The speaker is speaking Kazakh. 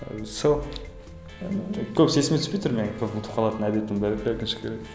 ы сол енді көбісі есіме түспей тұр менің көп ұмытып қалатын әдетім бар еді өкінішке орай